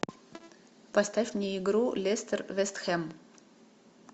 поставь мне игру лестер вест хэм